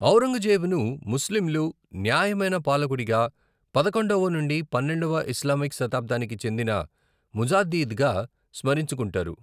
ఔరంగజేబును ముస్లింలు న్యాయమైన పాలకుడిగా, పదకొండవ నుండి పన్నెండవ ఇస్లామిక్ శతాబ్దానికి చెందిన ముజాద్దీద్గా స్మరించుకుంటారు.